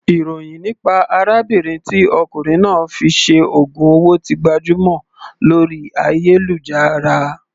Ìròhìn nípa arábìnrin tí ọkùnrin náà fi ṣe ògùn owó ti gbajúmọ̀ lórí ayélujára.